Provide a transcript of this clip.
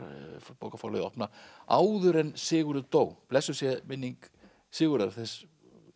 bókaforlagið opna áður en Sigurður dó blessuð sé minning Sigurðar þess